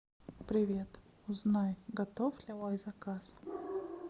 привет узнай готов ли мой заказ